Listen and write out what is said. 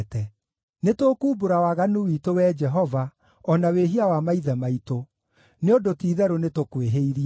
Nĩtũkumbũra waganu witũ, Wee Jehova, o na wĩhia wa maithe maitũ; nĩ ũndũ ti-itherũ nĩtũkwĩhĩirie.